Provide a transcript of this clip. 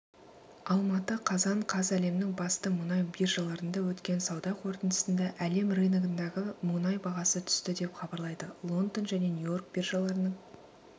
алматы қазан қаз әлемнің басты мұнай биржаларында өткен сауда қортындысында әлем рыногындағы мұнай бағасы түсті деп хабарлайды лондон және нью-йорк биржаларының